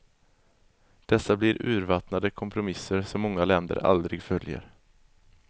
Dessa blir urvattnade kompromisser, som många länder aldrig följer.